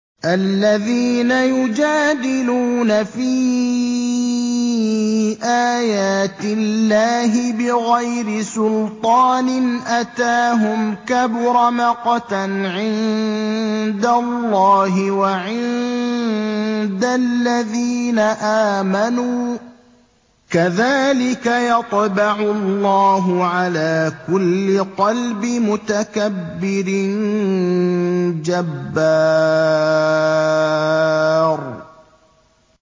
الَّذِينَ يُجَادِلُونَ فِي آيَاتِ اللَّهِ بِغَيْرِ سُلْطَانٍ أَتَاهُمْ ۖ كَبُرَ مَقْتًا عِندَ اللَّهِ وَعِندَ الَّذِينَ آمَنُوا ۚ كَذَٰلِكَ يَطْبَعُ اللَّهُ عَلَىٰ كُلِّ قَلْبِ مُتَكَبِّرٍ جَبَّارٍ